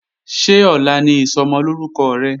Ṣé ọ̀la ni Ìsọmọlórúkọ rẹ̀?